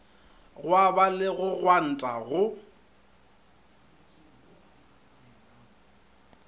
gwaba le go gwanta go